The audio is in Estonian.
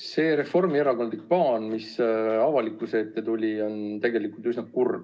See reformierakondlik plaan, mis avalikkuse ette tuli, on tegelikult üsna kurb.